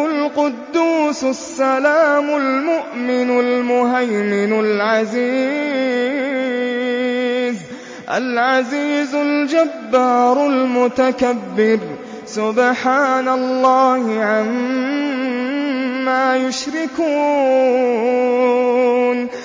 الْقُدُّوسُ السَّلَامُ الْمُؤْمِنُ الْمُهَيْمِنُ الْعَزِيزُ الْجَبَّارُ الْمُتَكَبِّرُ ۚ سُبْحَانَ اللَّهِ عَمَّا يُشْرِكُونَ